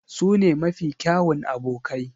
Su ne mafi kyawun abokai.